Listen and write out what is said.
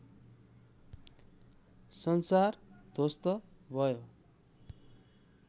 संसार ध्वस्त भयो